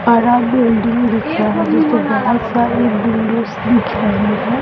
बड़ा बिल्डिंग दिख रहा है जिसपे बहोत सारा बिल्डिंग दिख रहे हैं।